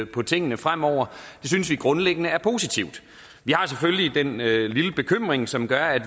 på tingene fremover synes vi grundlæggende er positivt vi har selvfølgelig den lille lille bekymring som gør at vi